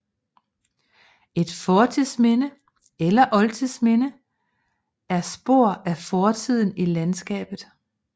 Et fortidsminde eller oldtidsminde er spor af fortiden i landskabet